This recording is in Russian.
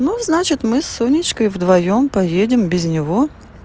ну значит мы с сонечкой вдвоём поедем без него